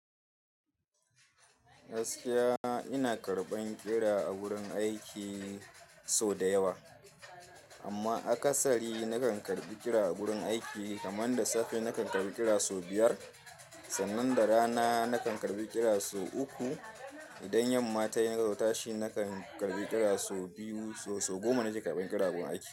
Gaskiya ina karɓan ƙira a wurin aiki sau da yawa, amma akasari na kan karɓi ƙira a wurin aiki kaman da safe na kan karɓi ƙira sau biyar, sannan da rana na kan karɓi ƙira sau uku. Idan yamma tayi nazo ta shi na kan karɓi ƙira sau biyu, sau goma na ke karɓan ƙira a gurin aiki.